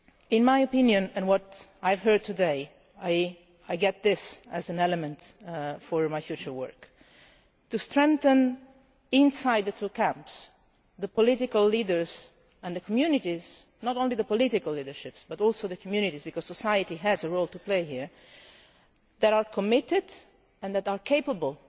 In my opinion, and from what I have heard today, I see as an element of my future work to strengthen inside the two camps the political leaders and the communities not only the political leaderships but also the communities, because society has a role to play here that are committed and that are capable